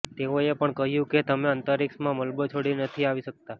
તેઓએ એ પણ કહ્યું કે અમે અંતરિક્ષમાં મલબો છોડીને નથી આવી શકતા